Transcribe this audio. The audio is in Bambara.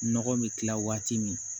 Nɔgɔ bɛ kila waati min